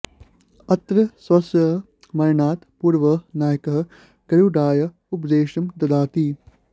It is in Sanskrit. अत्र स्वस्य मरणात् पूर्वं नायकः गरुडाय उपदेशं ददाति